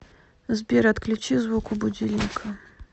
сбер отключи звук у будильника